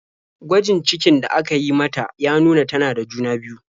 Gwajin cikin da aka yi mata ya nuna tana da juna-biyu.